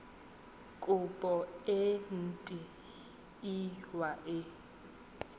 kopo e nt hwa e